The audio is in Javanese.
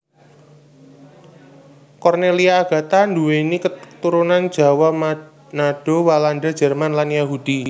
Cornelia Agatha nduwéni katurunan Jawa Manado Walanda Jerman lan Yahudi